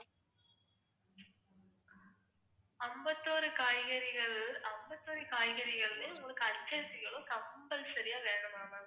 அம்பத்தொரு காய்கறிகள் அம்பத்தொரு காய்கறிகளுமே உங்களுக்கு urgent compulsory ஆ வேணுமா ma'am ஆமா